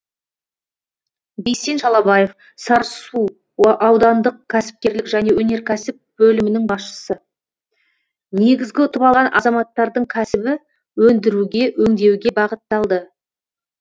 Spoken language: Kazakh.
бейсен шалабаев сарысу аудандық кәсіпкерлік және өнеркәсіп бөлімінің басшысы негізгі ұтып алған азаматтардың кәсібі өндіруге өңдеуге бағытталды